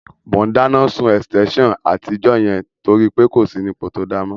Mò ún dáná sun ẹ̀sítẹ́nsàn àtijọ́ yẹn torí pé kò sí ní ipò tó dáa mọ́